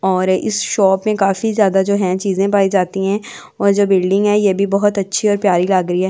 और इस शॉप में काफी ज्यादा जो हैं चीजें पाई जाती हैं और जो बिल्डिंग है ये भी बहुत अच्छी और प्यारी लाग रही है।